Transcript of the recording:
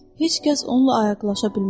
Heç kəs onunla ayaqlaşa bilməz.